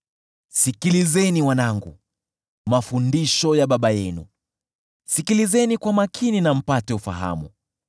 Sikilizeni wanangu, mafundisho ya baba yenu; sikilizeni kwa makini na mpate ufahamu.